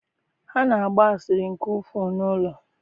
Ha na-agba asịrị nke ukwuu n’ụlọ.